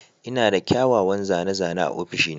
Ina da kyawawan zane-zane a ofishina.